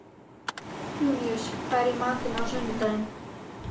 Júníus, hvað er í matinn á sunnudaginn?